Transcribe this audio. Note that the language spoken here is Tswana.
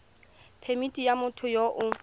phemithi ya motho yo o